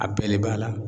A bɛɛ de b'a la